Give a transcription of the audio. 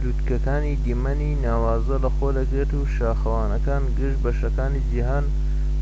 لووتکەکان دیمەنی ناوازە لە خۆ دەگرێت شاخەوانەکان گشت بەشەکانی جیھان